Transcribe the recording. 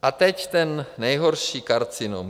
A teď ten nejhorší karcinom.